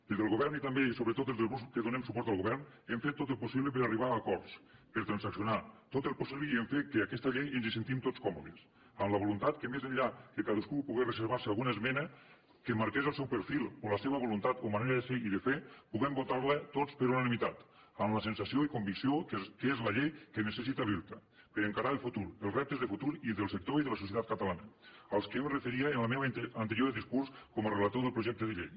des del govern i també sobretot des dels grups que donem suport al govern hem fet tot el possible per arribar a acords per transaccionar tot el possible i hem fet que en aquesta llei ens hi sentim tots còmodes amb la voluntat que més enllà que cadascú pogués reservarse alguna esmena que marqués el seu perfil o la seva voluntat o manera de ser i de fer puguem votar la tots per unanimitat amb la sensació i convicció que és la llei que necessita l’irta per encarar el futur els reptes de futur i del sector i de la societat catalana als quals jo em referia en el meu anterior discurs com a relator del projecte de llei